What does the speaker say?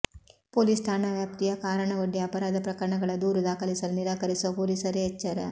police ಠಾಣಾ ವ್ಯಾಪ್ತಿಯ ಕಾರಣವೊಡ್ಡಿ ಅಪರಾಧ ಪ್ರಕರಣಗಳ ದೂರು ದಾಖಲಿಸಲು ನಿರಾಕರಿಸುವ ಪೊಲೀಸರೇ ಎಚ್ಚರ